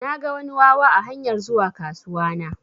Naga wani wawa a hanyar zuwa kasuwa na.